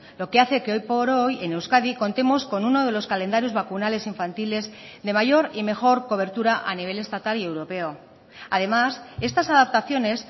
lo que hace que hoy por hoy en euskadi contemos con uno de los calendarios vacunales infantiles de mayor y mejor cobertura a nivel estatal y europeo además estas adaptaciones